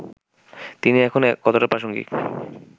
তিনি এখন কতটা প্রাসঙ্গিক